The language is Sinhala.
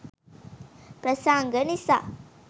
ප්‍රසංග නිසා